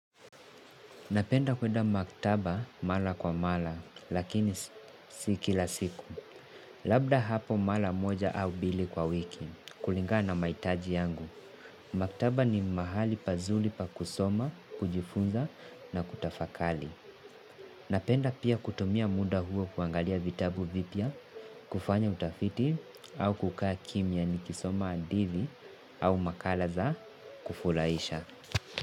Napenda kwenda maktaba mara kwa mara, lakini sii kila siku. Labda hapo mara moja au mbili kwa wiki, kulinga na mahitaji yangu. Maktaba ni mahali pazuri pa kusoma, kujifunza na kutafakari. Napenda pia kutumia muda huo kuangalia vitabu vipya, kufanya utafiti au kukaa kimya nikisoma hadithi au makala za kufurahisha.